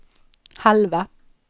halva